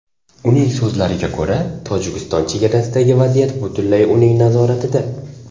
Uning so‘zlariga ko‘ra, Tojikiston chegarasidagi vaziyat butunlay uning nazoratida.